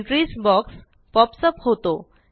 entries box pops up होतो